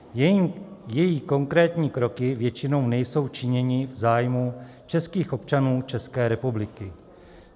Její konkrétní kroky většinou nejsou činěny v zájmu českých občanů České republiky.